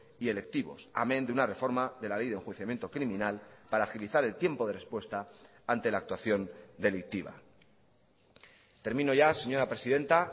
y electivos amén de una reforma de la ley de enjuiciamiento criminal para agilizar el tiempo de respuesta ante la actuación delictiva termino ya señora presidenta